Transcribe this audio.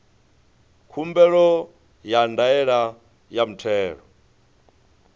khumbelo ya ndaela ya muthelo